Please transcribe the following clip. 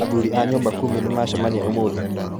Athuri a nyũmba kumi nĩmacemania ũmũthĩ.